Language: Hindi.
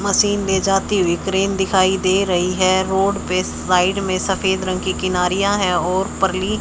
मशीन ले जाती हुई क्रेन दिखाई दे रही है रोड पे साइड में सफेद रंग की किनारियां है और परली--